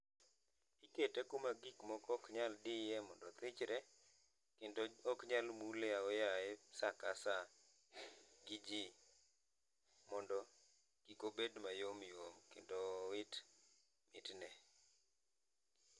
Ikete kuma gikmoko ok nyal diye mondo othichre kendo ok nyal mule ao yaye saa ka saa gi jii mondo kik obed mayom yom kendo owit mit ne